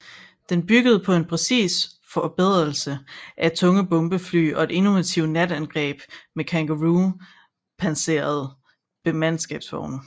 Den byggede på en præcis forberedelse med tunge bombefly og et innovativt natangreb med Kangaroo pansrede mandskabsvogne